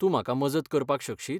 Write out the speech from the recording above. तूं म्हाका मजत करपाक शकशीत?